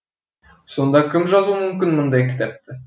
сонда кім жазуы мүмкін мұндай кітапты